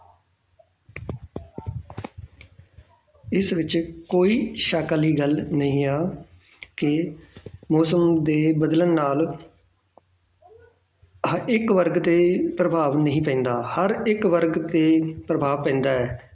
ਇਸ ਵਿੱਚ ਕੋਈ ਸ਼ੱਕ ਵਾਲੀ ਗੱਲ ਨਹੀਂ ਹੈ ਕਿ ਮੌਸਮ ਦੇ ਬਦਲਣ ਨਾਲ ਹਾਂ ਇੱਕ ਵਰਗ ਤੇ ਪ੍ਰਭਾਵ ਨਹੀਂ ਪੈਂਦਾ ਹਰ ਇੱਕ ਵਰਗ ਤੇ ਪ੍ਰਭਾਵ ਪੈਂਦਾ ਹੈ